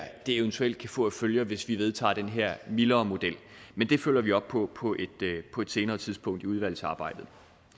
eventuelt kan få af følger hvis vi vedtager den her mildere model men det følger vi op på på på et senere tidspunkt i udvalgsarbejdet